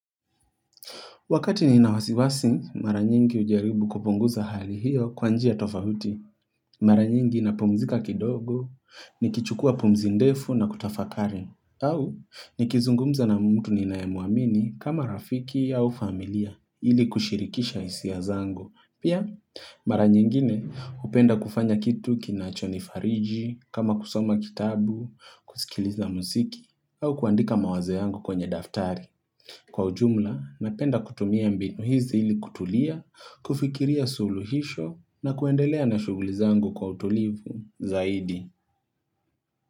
Wakati nina wasiwasi, mara nyingi hujaribu kupunguza hali hiyo kwa njia tofauti. Mara nyingi napumzika kidogo, nikichukua pumzi ndefu na kutafakari. Au, nikizungumza na mtu ninaye muamini kama rafiki au familia ili kushirikisha hisia zangu. Pia, mara nyingine hupenda kufanya kitu kinachonifariji, kama kusoma kitabu, kusikiliza muziki, au kuandika mawazo yangu kwenye daftari. Kwa ujumla, napenda kutumia mbinu hizi ili kutulia, kufikiria suluhisho na kuendelea na shuguli zangu kwa utulivu zaidi.